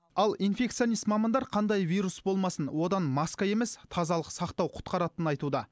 ал инфекционист мамандар қандай вирус болмасын одан маска емес тазалық сақтау құтқаратынын айтуда